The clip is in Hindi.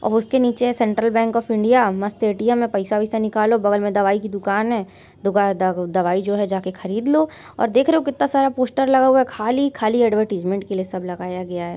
और उसके नीचे है सेंट्रल बैंक ऑफ इंडिया मस्त ए_टी_एम है| पैसा वैसा निकालो बगल मे दवाई की दुकान है| दुका द दवाई जो है जाकर खरीद लो और देख रहे हो कित्ता सारा पोस्टर लगा हुआ है खाली - खाली ऐड्वर्टाइज़्मन्ट के लिए सब लगाया गया है |